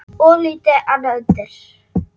Of lítið annað undir.